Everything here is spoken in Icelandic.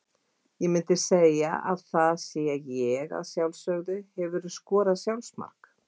Ég myndi segja að það sé ég að sjálfsögðu Hefurðu skorað sjálfsmark?